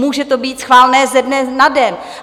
Může to být schválené ze dne na den.